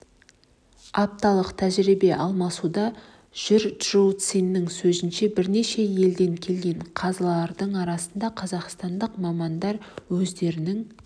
апталық тәжірибе алмасуда жүр чжоу цянның сөзінше бірнеше елден келген қазылардың арасында қазақстандық мамандар өздерінің